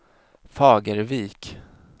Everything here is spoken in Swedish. Fagervik